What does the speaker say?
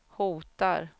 hotar